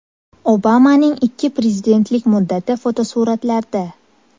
Obamaning ikki prezidentlik muddati fotosuratlarda.